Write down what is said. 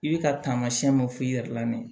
I bɛ ka taamasiyɛn mun f'i yɛrɛ la nin ye